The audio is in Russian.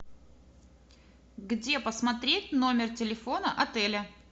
где посмотреть номер телефона отеля